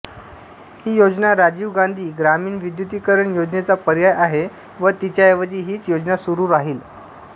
ही योजना राजीव गांधी ग्रामीण विद्युतीकरण योजनेचा पर्याय आहे व तिच्याऐवजी हीच योजना सुरू राहील